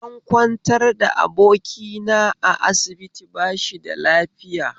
An kwantar da abokina a asibiti bashida lafiya